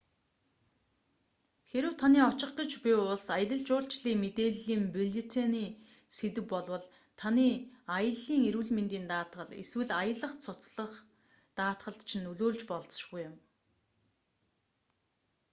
хэрэв таны очих гэж буй улс аялал жуулчлалын мэдээллийн бюллетений сэдэв болвол таны аяллын эрүүл мэндийн даатгал эсвэл аялах цуцлах даатгалд чинь нөлөөлж болзошгүй юм